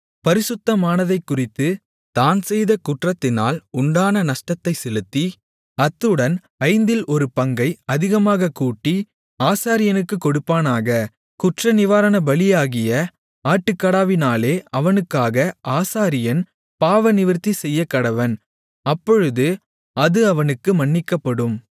பரிசுத்தமானதைக்குறித்துத் தான் செய்த குற்றத்தினால் உண்டான நஷ்டத்தைச் செலுத்தி அத்துடன் ஐந்தில் ஒரு பங்கை அதிகமாகக் கூட்டி ஆசாரியனுக்குக் கொடுப்பானாக குற்றநிவாரணபலியாகிய ஆட்டுக்கடாவினாலே அவனுக்காக ஆசாரியன் பாவநிவிர்த்தி செய்யக்கடவன் அப்பொழுது அது அவனுக்கு மன்னிக்கப்படும்